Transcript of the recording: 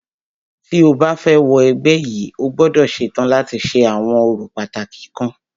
Tí o bá fẹ́ wọ ẹgbẹ́ yìí,o gbọ́dọ̀ ṣetán láti ṣe àwọn orò pàtàkì kan.